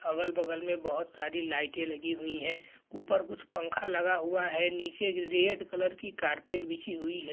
अगल-बगल में बोहोत सारी लाइटें लगी हुई हैं। ऊपर कुछ पंखा लगा हुआ है। नीचे रेड कलर कि कारपेट बिछी हुई है।